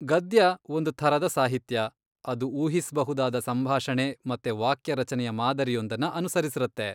ಗದ್ಯ ಒಂದ್ ಥರದ ಸಾಹಿತ್ಯ, ಅದು ಊಹಿಸ್ಬಹುದಾದ ಸಂಭಾಷಣೆ ಮತ್ತೆ ವಾಕ್ಯರಚನೆಯ ಮಾದರಿಯೊಂದನ್ನ ಅನುಸರಿಸಿರತ್ತೆ.